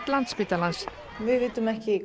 Landspítalans við vitum ekki